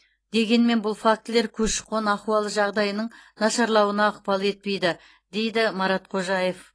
дегенмен бұл фактілер көші қон ахуалы жағдайының нашарлауына ықпал етпейді деді марат қожаев